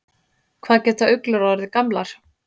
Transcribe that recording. Hvað geta uglur orðið gamlar?